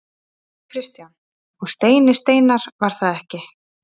Kristján: Og Steini Steinarr var það ekki?